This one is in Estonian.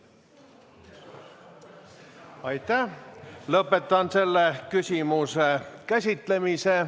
Lõpetan selle küsimuse käsitlemise.